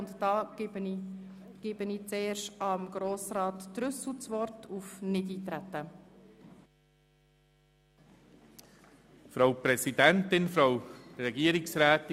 Ich erteile zuerst Grossrat Trüssel das Wort, der den Antrag auf Nichteintreten gestellt hat.